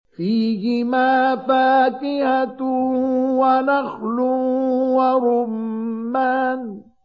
فِيهِمَا فَاكِهَةٌ وَنَخْلٌ وَرُمَّانٌ